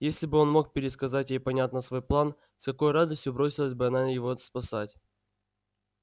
если бы он мог пересказать ей понятно свой план с какой радостью бросилась бы она его спасать